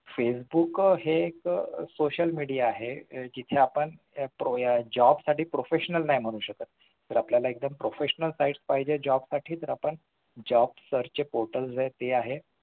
facebook हे एक social media आहे जिथे आपण job साठी professional नाही म्हणू शकत तर आपल्याला proffesonal sites पाहिजेत job साठी तरआपण job search चे portal आहेत ते आहे